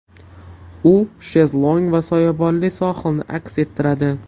U shezlong va soyabonli sohilni aks ettiradi.